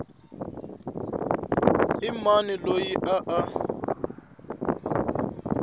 i mani loyi a a